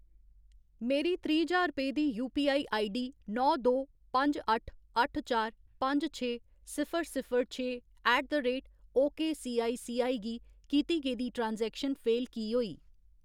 मेरी त्रीह्‌ ज्हार रपेऽ दी यूपीआई आईडी नौ दो पंज अट्ठ अट्ठ चार पंज छे सिफर सिफर छे ऐट द रेट ओकेसीआईसीआई गी कीती गेदी ट्रांजैक्शन फेल की होई?